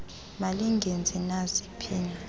malingenzi nayi phina